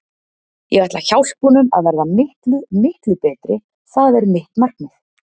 Ég ætla að hjálpa honum að verða miklu, miklu betri, það er mitt markmið.